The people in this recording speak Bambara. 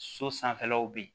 So sanfɛlaw bɛ yen